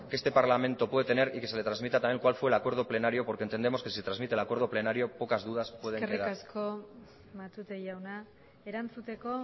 que este parlamento puede tener y que le tramita también cuál fue el acuerdo plenario porque entendemos que si se trasmite el acuerdo plenario pocas dudas puede tener eskerrik asko matute jauna erantzuteko